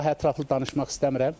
Daha ətraflı danışmaq istəmirəm.